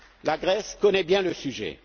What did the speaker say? clair! La Grèce connaît bien